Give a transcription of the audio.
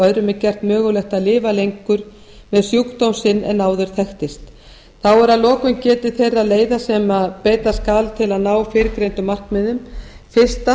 öðrum er gert mögulegt að lifa lengur með sjúkdóm sinn en áður þekktist þá er að lokum getið þeirra leiða sem beita skal til að ná fyrrgreindum markmiðum fyrstu